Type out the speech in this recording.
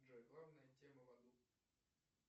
джой главная тема в аду